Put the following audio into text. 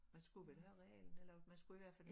Man skulle vel have realen eller man skulle i hvert fald